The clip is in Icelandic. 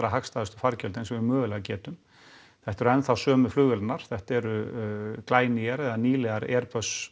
hagstæðustu fargjöld eins og við mögulega getum þetta eru enn þá sömu flugvélarnar þetta eru glænýjar eða nýlegar